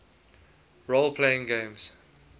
role playing games